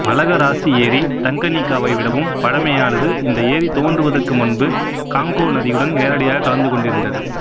Malagarasi ஏரி தங்கனீக்காவை விடவும் பழமையானது இந்த ஏரி தோன்றுவதற்கு முன்பு காங்கோ நதியுடன் நேரடியாக கலந்து கொண்டிருந்தது